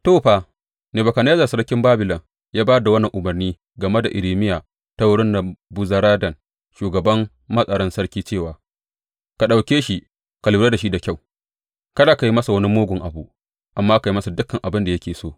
To, fa, Nebukadnezzar sarkin Babilon ya ba da wannan umarnai game da Irmiya ta wurin Nebuzaradan shugaban matsaran sarki cewa, Ka ɗauke shi ka lura da shi da kyau, kada ka yi masa wani mugun abu, amma ka yi masa dukan abin da yake so.